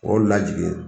O lajigin